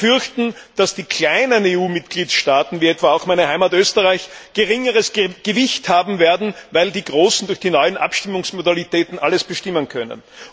Viele fürchten, dass die kleinen EU Mitgliedstaaten wie etwa auch meine Heimat Österreich geringeres Gewicht haben werden, weil die großen durch die neuen Abstimmungsmodalitäten alles bestimmen könnten.